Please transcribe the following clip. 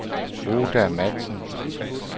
Oda Matzen